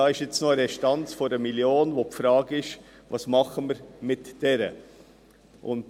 Hier besteht noch eine Restanz von 1 Mio. Franken, und die Frage ist, was wir mit dieser machen sollen.